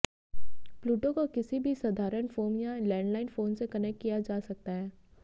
Pluto को किसी भी साधारण फोन या लैंडलाइन फोन से कनेक्ट किया जा सकता है